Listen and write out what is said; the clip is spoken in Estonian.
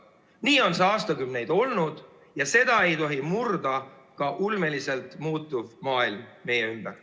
Nii on see aastakümneid olnud ja seda ei tohi murda ka ulmeliselt muutuv maailm meie ümber.